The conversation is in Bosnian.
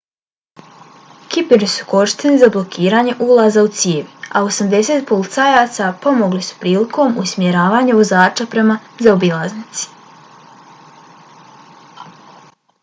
kiperi su korišteni za blokiranje ulaza u cijevi a 80 policajaca pomagali su prilikom usmjeravanja vozača prema zaobilaznici